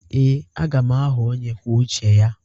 Ee, aga m aghọ onye kwuo uche ya.